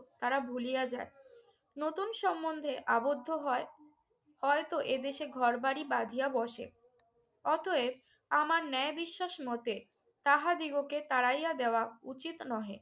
তারা ভুলিয়া যায়। নতুন সম্বন্ধে আবদ্ধ হয়। হয়তো এদেশে ঘরবাড়ি বাঁধিয়া বসে। অতএব আমার ন্যায় বিশ্বাস মতে তাহাদিগকে তাড়াইয়া দেওয়া উচিত নহে।